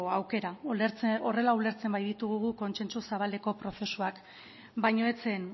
aukera horrela ulertzen baititugu guk kontsentsu zabaleko prozesuak baina ez zen